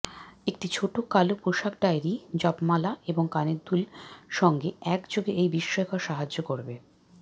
একটি ছোট কালো পোষাক ডায়েরি জপমালা এবং কানের দুল সঙ্গে একযোগে এই বিস্ময়কর সাহায্য করবে